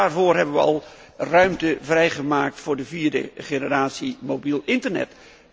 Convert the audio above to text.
we hebben al ruimte vrijgemaakt voor de vierde generatie mobiel internet.